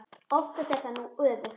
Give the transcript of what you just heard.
Oftast er það nú öfugt.